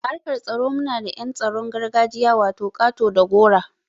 A harkan tsaro muna da yan tsaron gargajiya wato ƙato da gora.